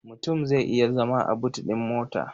Mutum zai iya zama a but ɗin mota.